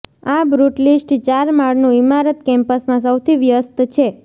આ બ્રુટલીસ્ટ ચાર માળનું ઇમારત કેમ્પસમાં સૌથી વ્યસ્ત છે